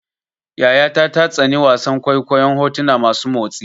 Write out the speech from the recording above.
Yayata ta tsani wasan kwaikwayon hotuna masu motsi.